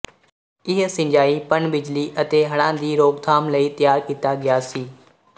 ਇਹ ਸਿੰਜਾਈ ਪਣ ਬਿਜਲੀ ਅਤੇ ਹੜ੍ਹਾਂ ਦੀ ਰੋਕਥਾਮ ਲਈ ਤਿਆਰ ਕੀਤਾ ਗਿਆ ਸੀ